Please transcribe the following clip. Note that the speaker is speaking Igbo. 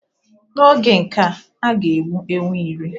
N'oge nkea, a ga-egbu ewu iri